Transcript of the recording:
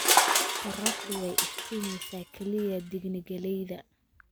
Qorraxdu way iftiimaysaa, kaliya diigne galleyda